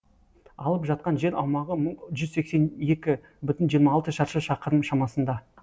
алып жатқан жер аумағы жүз сексен екі бүтін жүзден жиырма алты шаршы шақырым шамасында